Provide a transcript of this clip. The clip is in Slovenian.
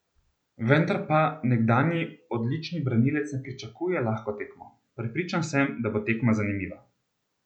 Vendar pa nekdanji odlični branilec ne pričakuje lahko tekmo: "Prepričan sem, da bo tekma zanimiva.